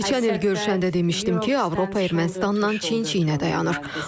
Keçən il görüşəndə demişdim ki, Avropa Ermənistanla çiyin-çiyinə dayanır.